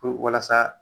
Puru walasa